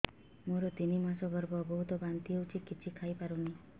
ମୋର ତିନି ମାସ ଗର୍ଭ ବହୁତ ବାନ୍ତି ହେଉଛି କିଛି ଖାଇ ପାରୁନି